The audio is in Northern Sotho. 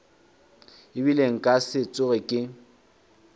ebile nka se tsoge ke